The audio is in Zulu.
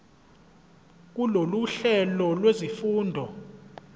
kulolu hlelo lwezifundo